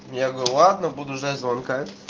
я говорю ладно буду ждать звонка